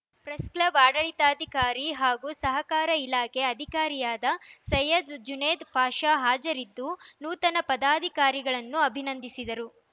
press club ಆಡಳಿತಾಧಿಕಾರಿ ಹಾಗೂ ಸಹಕಾರ ಇಲಾಖೆ ಅಧಿಕಾರಿಯಾದ ಸೈಯದ್‌ ಜುನೇದ್‌ ಪಾಷ ಹಾಜರಿದ್ದು ನೂತನ ಪದಾಧಿಕಾರಿಗಳನ್ನು ಅಭಿನಂದಿಸಿದರು